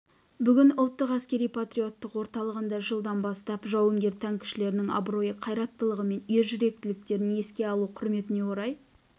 бүгін ұлттық әскери-патриоттық орталығында жылдан бастап жауынгер танкішілердің абыройы қайраттылығы мен ержүректіліктерін еске алу құрметіне орай